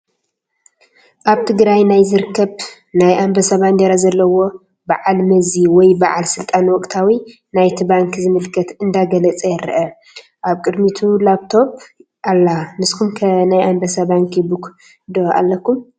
ኣብ ትግራይ ናይ ዝርከብ ናይ ኣንበሳ ባንዴራ ዘለዎ ባዓል መዚ ወይ በዓል ስልጣን ወቕታዊ ናይቲ ባንኪ ዝምልከት እንዳገለፀ ይረአ፡፡ ኣብ ቅድሚቱ ላኘቶኘ ኣላ፡፡ ንስኹም ከ ናይ ኣንበሳ ባንኪ ቡክ ዶ ኣለኩም?